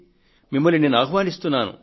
మిమ్మల్ని నేను ఆహ్వానిస్తున్నాను